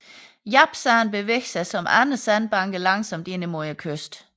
Japsand bevæger sig som andre sandbanke langsomt ind imod kysten